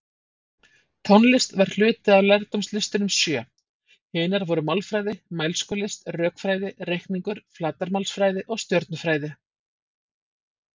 Tónlist var hluti af lærdómslistunum sjö, hinar voru málfræði, mælskulist, rökfræði, reikningur, flatarmálsfræði og stjörnufræði.